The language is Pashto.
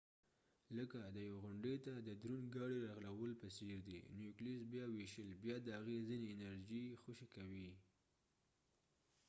لکه د یوې غونډۍ ته د دروند ګاډۍ رغړولو په څیر دي نیوکلیوس بیا ویشل بیا د هغې ځینې انرژي خوشې کوي